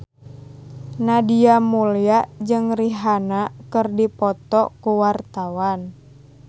Nadia Mulya jeung Rihanna keur dipoto ku wartawan